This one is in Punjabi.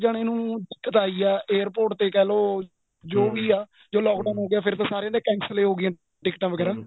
ਜਾਣੇ ਨੂੰ ਦਿੱਕਤ ਆਈ ਏ airport ਤੇ ਕਹਿਲੋ ਜੋ ਵੋ ਆ ਜੋ lock down ਹੋ ਗਿਆ ਫ਼ੇਰ ਤਾਂ ਸਾਰੀਆਂ ਦੇ cancel ਹੋ ਹੋ ਗਈਆਂ ਟਿੱਕਟਾਂ ਵਗੇਰਾ